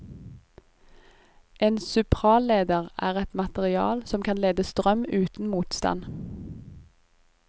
En supraleder er et materiale som kan lede strøm uten motstand.